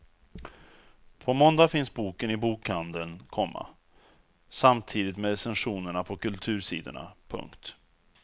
På måndag finns boken i bokhandeln, komma samtidigt med recensionerna på kultursidorna. punkt